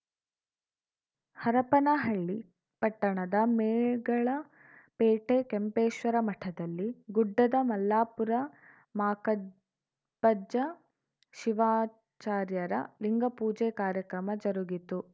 ಹರಪನಹಳ್ಳಿ ಪಟ್ಟಣದ ಮೇಗಳಪೇಟೆ ಕೆಂಪೇಶ್ವರ ಮಠದಲ್ಲಿ ಗುಡ್ಡದ ಮಲ್ಲಾಪುರ ಮಾಕಪ್ಪಜ್ಜ ಶಿವಾಚಾರ್ಯರ ಲಿಂಗಪೂಜೆ ಕಾರ್ಯಕ್ರಮ ಜರುಗಿತು